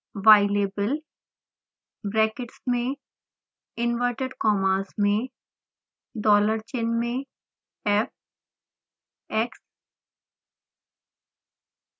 ylabel brackets में inverted commas में dollar चिन्ह में fx